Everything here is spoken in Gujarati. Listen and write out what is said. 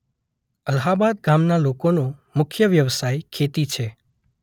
અલ્હાબાદ ગામના લોકોનો મુખ્ય વ્યવસાય ખેતી છે.